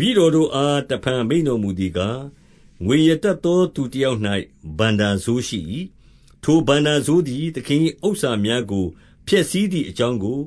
ပည့်တော်တို့အားတဖန် မိန့်တော်မူသည်ကား၊ ငွေရတတ်သောသူတယောက်၌ ဘဏ္ဍာစိုးရှိ၏။ ထို ဘဏ္ဍာစိုးသည် သင်၏ဥစ္စာများကို ဖျက်ဆီးသည်အကြောင်းကို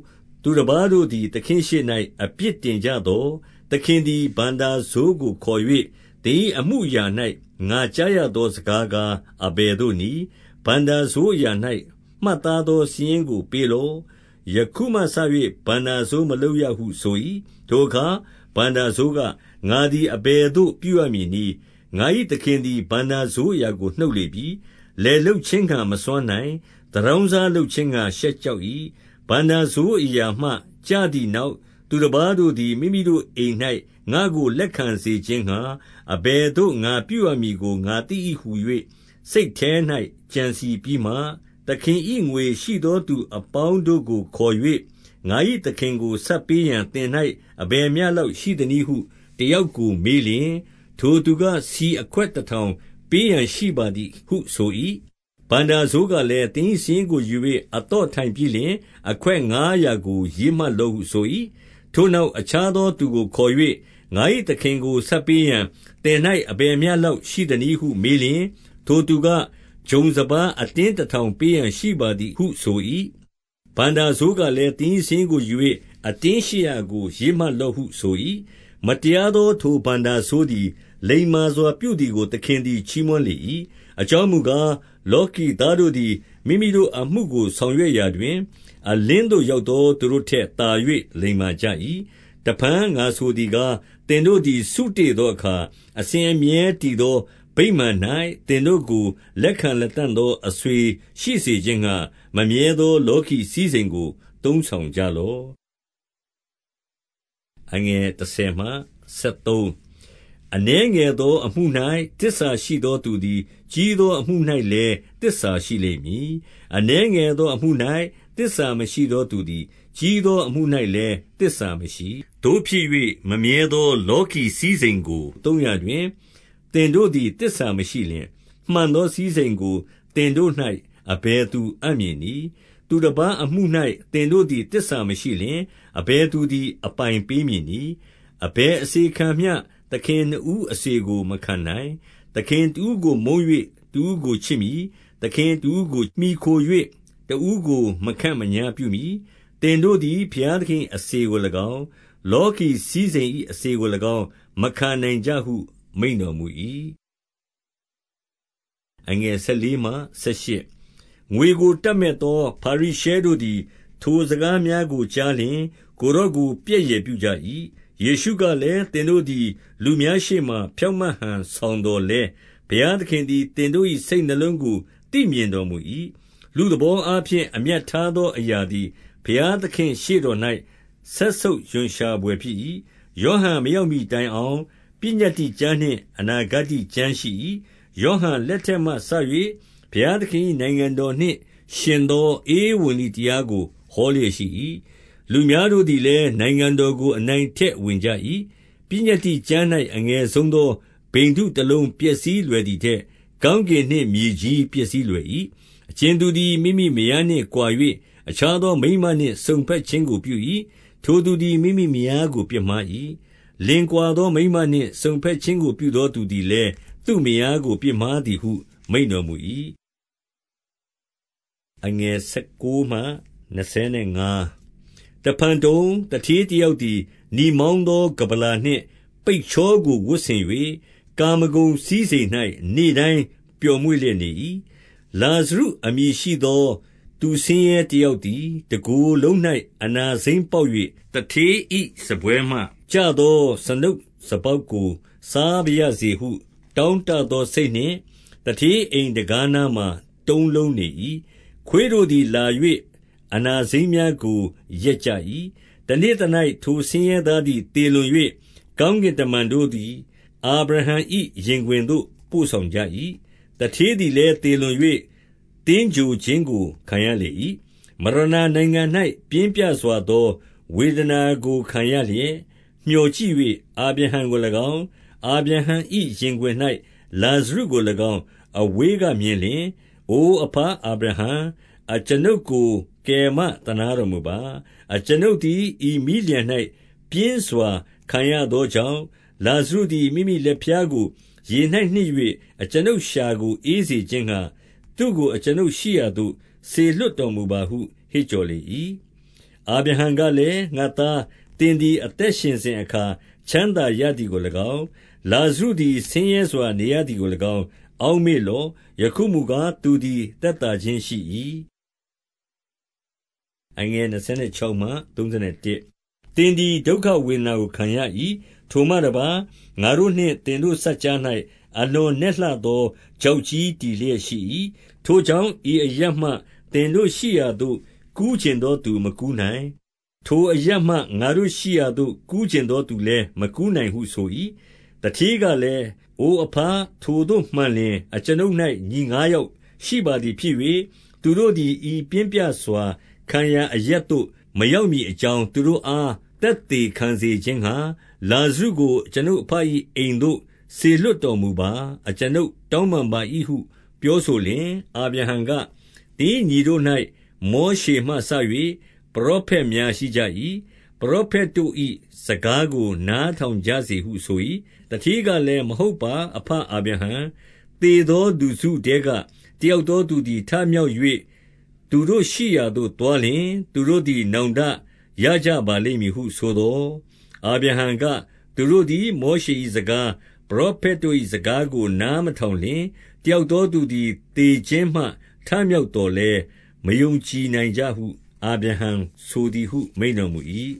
သူတပါးတို့သည် သခင်ရှေ့၌ အပြစ်တင် ကြသော်၊ 2 သခင်သည် ဘဏ္ဍာစိုးကို ခေါ်၍၊ သင်၏အမူအရာ၌ ငါကြားရသောစကားကား အဘယ်သို့နည်း။ ဘဏ္ဍာစိုးအရာ၌ မှတ်သားသော စာရင်းကို ပေးလော့။ ယခုမှစ၍ ဘဏ္ဍာစိုးမလုပ်ရဟု ဆို၏။ 3 ထိုအခါ ဘဏ္ဍာစိုးက၊ ငါသည် အဘယ်သို့ပြုရမည်နည်း။ ငါ၏သခင်သည် ဘဏ္ဍာစိုးအရာကို နှုတ်လေပြီ။ လယ်လုပ်ခြင်းငှါ မစွမ်းနိုင်။ သူတောင်းစား လုပ်ခြင်းငှါ ရှက်ကြောက်၏။ 4 ဘဏ္ဍာစိုးအရာမှ ကျသည်နောက် သူတပါးတို့သည် မိမိတို့အိမ်၌ ငါ့ကိုလက်ခံစေခြင်းငှါ အဘယ်သို့ ငါပြုရမည်ကို ငါသိ၏ဟူ၍ စိတ်ထဲ၌ ကြံစည်ပြီးမှ၊ 5 သခင်၏ငွေရှိသောသူအပေါင်းတို့ကို ခေါ်၍၊ ငါ၏သခင်ကို ဆပ်ပေးရန် သင်၌အဘယ်မျှလောက်ရှိ သနည်းဟု တယောက်ကိုမေးလျှင်၊ 6 ထိုသူက၊ ဆီအခွက်တထောင်ပေးရန် ရှိပါသည်ဟုဆို၏။ ဘဏ္ဍာစိုးကလည်း၊ သင်၏ စာရင်းကိုယူ၍ အသော့ထိုင်ပြီးလျှင်၊ အခွက်ငါးရာကို ရေးမှတ်လော့ဟုဆို၏။ 7 ထိုနောက် အခြားသောသူကိုခေါ်၍၊ ငါ၏ သခင်ကိုဆပ်ပေးရန် သင်၌ အဘယ်မျှလောက်ရှိသနည်း ဟု မေးလျှင်၊ ထိုသူက၊ ဂျုံစပါးအတင်းတထောင်ပေးရန်ရှိပါသည်ဟု ဆို၏။ ဘဏ္ဍာစိုးကလည်း၊ သင်၏ စာရင်းကိုယူ၍ အတင်းရှစ်ရာကို ရေးမှတ်လော့ဟု ဆို၏။ 8 မတရားသော ထိုဘဏ္ဍာစိုးသည် လိမ္မာစွာပြုသည်ကို သခင်သည် ချီးမွမ်းလေ၏။ အကြောင်းမူကား၊ လောကီသားတို့သည် မိမိတို့အမှုကို ဆောင်ရွက်ရာတွင်၊ အလင်းသို့ရောက်သောသူတို့ထက်သာ၍ လိမ္မာကြ၏။ 9 တဖန် ငါဆိုသည်ကား၊ သင်တို့သည် စုတေ့သောအခါ၊ အစဉ်အမြဲတည်သော ဗိမာန်၌သင်တို့ကို လက်ခံလတံ့သော အဆွေရှိစေခြင်းငှါ မမြဲသော လောကီစည်းစိမ်ကို သုံးဆောင်ကြလော့။ 10 အနည်းငယ်သော အမှု၌ သစ္စာရှိသောသူသည် ကြီးသောအမှု၌လည်း သစ္စာရှိလိမ့်မည်။ အနည်းငယ် သောအမှု၌ သစ္စာမရှိသောသူသည် ကြီးသောအမှု၌ သစ္စာမရှိ။ 11 သို့ဖြစ်၍ မမြဲသော လောကီစည်းစိမ်ကို သုံးရာတွင် သင်တို့သည် သစ္စာမရှိလျှင်၊ မှန်သောစည်းစိမ်ကို သင်တို့၌ အဘယ်သူအပ်မည်နည်း။ 12 သူတပါးအမှု၌ သင်တို့သည် သစ္စာမရှိလျှင်၊ အဘယ်သူသည် အပိုင်ပေးမည်နည်း။ 13 အဘယ်အစေခံမျှ သခင်နှစ်ဦးအစေကို မခံနိုင်။ သခင်တဦးကိုမုန်း၍ တဦးကိုချစ်မည်။ သခင်တဦး မှီခို၍ တဦးကို မခန့်မညားပြုမည်။ သင်တို့သည် ဘုရားသခင်၏ အစေကို၎င်း၊ လောကီစည်းစိမ်၏အစေကို၎င်း မခံနိုင်ကြဟု မိန့်တော်မူ၏။ 14 ငွေကို တပ်မက်သော ဖာရိရှဲတို့သည် ထိုစကားများကို ကြားလျှင်၊ ကိုယ်တော်ကို ပြက်ယယ်ပြုကြ၏။ 15 ယေရှုကလည်း၊ သင်တို့သည် လူများရှေ့မှာ ဖြောင့်မတ်ဟန်ဆောင်သော်လည်း၊ ဘုရားသခင်သည် သင်တို့၏စိတ်နှလုံးကို သိမြင်တော်မူ၏။ လူသဘောအားဖြင့် အမြတ်ထားသောအရာသည် ဘုရားသခင့် ရှေ့တော်၌ စက်ဆုပ်ရွံရှာဘွယ်ဖြစ်၏။ 16 ယောဟန်မရောက်မှီတိုင်အောင် ပညတ္တိကျမ်းနှင့် အနာဂတ္တိကျမ်းရှိ၏။ ယောဟန်လက်ထက်မှစ၍ ဘုရားသခင်၏နိုင်ငံတော်နှင့် ယှဉ်သောဧဝံဂေလိတရားကို ဟောလျက်ရှိ၏။ လူများတို့သည်လည်း နိုင်ငံတော် ကို အနိုင်အထက်ဝင်ကြ၏။ 17 ပညတ္တိကျမ်း၌ အငယ်ဆုံးသော ဗိန္ဓုတလုံးပျက်စီးလွယ်ထက်၊ ကောင်းကင်နှင့်မြေကြီးပျက်စီးလွယ်၏။ 18 အကြင်သူသည် မိမိမယားနှင့်ကွာ၍ အခြားသောမိန်းမနှင့်စုံဘက်ခြင်းကိုပြု၏။ ထိုသူသည် မိမိမယား ကို ပြစ်မှား၏။ လင်ကွာသော မိန်းမနှင့်စုံဘက်ခြင်းကို ပြုသောသူသည်လည်း သူ့မယားကိုပြစ်မှားသည်ဟု မိန့်တော်မူ၏။ 19 ယဖန်တုံ၊ သူဌေးတယောက်သည် နီမောင်းသော ကမ္ဗလာနှင့်ပိတ်ချောကိုဝတ်ဆင်၍၊ ကာမဂုဏ် စည်းစိမ်၌ နေ့တိုင်းပျော်မွေ့လျက်နေ၏။ 20 လာဇရုအမည်ရှိသော သူဆင်းရဲတယောက်သည် တကိုယ်လုံး၌ အနာစိမ်းပေါက်၍၊ 21 သူဌေး၏စားပွဲမှကျသော စားနုပ်စားပေါက်ကို စားပါရစေဟု တောင့်တသောစိတ်နှင့် သူဌေးအိမ် တံခါးနားမှာ တုံးလုံးနေ၏။ ခွေးတို့သည် လာ၍ အနာစိမ်းများကို လျက်ကြ။ 22 တနေ့သ၌ ထိုဆင်းရဲသားသည် သေလွန်၍၊ ကောင်းကင်တမန်တို့သည် အာဗြဟံ၏ရင်ခွင်သို့ ပို့ ဆောင်ကြ၏။ သူဌေးသည်လည်း သေလွန်၍ သင်္ဂြိုဟ်ခြင်းကို ခံရလေ၏။ 23 မရဏာနိုင်ငံ၌ ပြင်းပြစွာသောဝေဒနာကို ခံရလျက် မျှော်ကြည့်၍၊ အာဗြဟံကို၎င်း၊ အာဗြဟံ၏ ရင်ခွင်၌ လာဇရုကို၎င်း အဝေးကမြင်လျှင်၊ 24 အိုအဘအာဗြဟံ၊ အကျွန်ုပ်ကို ကယ်မသနားတော်မူပါ။ အကျွန်ုပ်သည် ဤမီးလျှံ၌ ပြင်းစွာခံရသော ကြောင့်၊ လာဇရုသည် မိမိလက်ဖျားကို ရေ၌နှစ်၍ အကျွန်ုပ်လျှာကို အေးစေခြင်းငှါ သူ့ကို အကျွန်ုပ်ရှိရာသို့ စေ လွှတ်တော်မူပါဟု ဟစ်ကြော်လေ၏။ 25 အာဗြဟံကလည်း၊ ငါ့သား၊ သင်သည် အသက်ရှင်စဉ်အခါ ချမ်းသာရသည်ကို၎င်း၊ လာဇရုသည် ဆင်းရဲစွာ နေရသည်ကို၎င်း အောက်မေ့လော့။ ယခုမူကား၊ သူသည်သက်သာခြင်းရှိ၏။ သင်သည် ဒုက္ခဝေဒနာ ကို ခံရ၏။ 26 ထိုမှတပါး၊ ငါတို့နှင့် သင်တို့ စပ်ကြား၌ အလွန်နက်လှသော ချောက်ကြီးတည်လျက်ရှိ၏။ ထိုကြောင့် ဤ အရပ်မှသင်တို့ရှိရာသို့ ကူးချင်သောသူမကူးနိုင်။ ထိုအရပ်မှ ငါတို့ရှိရာသို့ ကူးချင်းသောသူလည်း မကူးနိုင် ဟု ဆို၏။ 27 သူဌေးကလည်၊ အိုအဘ၊ ထိုသို့မှန်လျှင်၊ 28 အကျွန်ုပ်၌ ညီငါးယောက်ရှိပါသည်ဖြစ်၍၊ သူတို့သည် ဤပြင်းပြစွာ ခံရာအရပ်သို့မရောက်မည် အ ကြောင်း၊ သူတို့အား သက်သေခံစေခြင်းငှါ၊ လာဇရုကို အကျွန်ုပ်အဘ၏အိမ်သို့ စေလွှတ်တော်မူပါ။ အကျွန်ုပ် တောင်းပန်ပါ၏ဟု ပြောဆိုလျှင်၊ 29 အာဗြဟံက၊ သင်၏ညီတို့၌ မောရှေမှစ၍ ပရောဖက်များရှိကြ၏။ ပရောဖက်တို့၏ စကားကို နား ထောင်ကြစေဟုဆို၏။ 30 သူဌေးကလည်း၊ မဟုတ်ပါ အဘအာဗြဟံ။ သေသောလူစုထဲက တယောက်သောသူသည် ထ မြောက်၍ သူတို့ရှိရာသို့ သွားလျှင်၊ သူတို့သည် နောင်တရကြပါလိမ့်မည်ဟုဆိုသော်၊ 31 အာဗြဟံက၊ သူတို့သည် မောရှေ၏စကား၊ ပရောဖက်တို့၏စကားကို နားမထောင်လျှင်၊ တယောက် သောသူသည် သေခြင်းမှထမြောက်သော်လည်း မယုံကြည်နိုင်ကြဟု အာဗြဟံဆိုသည်ဟု မိန့်တော်မူ၏။